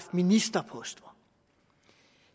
ministerposter